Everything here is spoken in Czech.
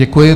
Děkuji.